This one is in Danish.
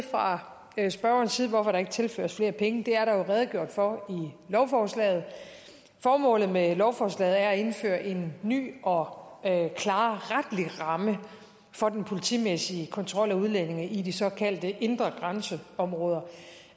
fra spørgerens side til hvorfor der ikke tilføres flere penge det er der jo redegjort for i lovforslaget formålet med lovforslaget er at indføre en ny og klarere retlig ramme for den politimæssige kontrol af udlændinge i de såkaldte indre grænseområder